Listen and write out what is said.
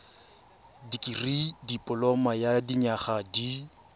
dikirii dipoloma ya dinyaga di